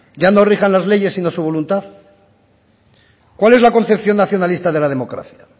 ya no rijan las leyes sino su voluntad cuál es la concepción nacionalista de la democracia